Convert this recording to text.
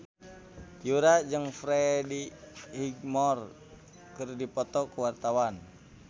Yura jeung Freddie Highmore keur dipoto ku wartawan